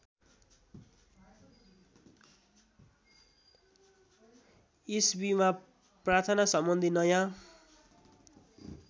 इस्वीमा प्रार्थनासम्बन्धी नयाँ